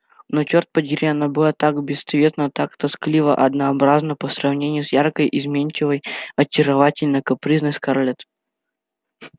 но чёрт подери она была так бесцветна так тоскливо-однообразна по сравнению с яркой изменчивой очаровательно-капризной скарлетт